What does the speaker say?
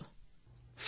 phone call સમાપ્ત